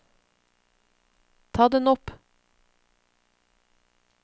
ta den opp